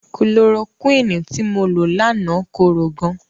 Kulorokúìnì tí mo lo láàná korò gan.